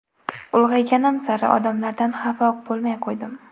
Ulg‘ayganim sari odamlardan xafa bo‘lmay qo‘ydim.